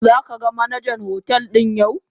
Zaka ga Manajan hotel din yau.?